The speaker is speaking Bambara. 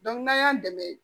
n'an y'an dɛmɛ